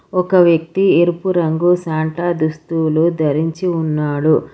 ఒక వ్యక్తి ఎరుపు రంగు సాంట దుస్తులు ధరించి ఉన్నాడు.